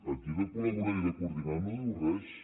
aquí de col·laborar i de coordinar no diu res